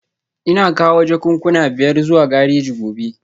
Ina kawo jakunkuna biyar zuwa gareji gobe